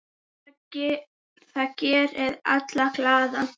Það gerir alla glaða.